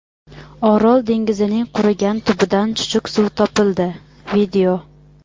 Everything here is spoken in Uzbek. Orol dengizining qurigan tubidan chuchuk suv topildi.